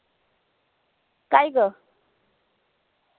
काय ग?